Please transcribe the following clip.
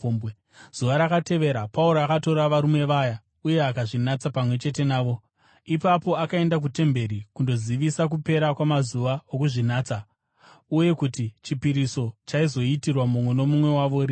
Zuva rakatevera Pauro akatora varume vaya uye akazvinatsa pamwe chete navo. Ipapo akaenda kutemberi kundozivisa kupera kwamazuva okuzvinatsa uye kuti chipiriso chaizoitirwa mumwe nomumwe wavo rinhi.